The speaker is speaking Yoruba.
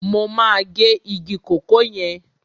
Mo máa gé igi kòkó yẹn.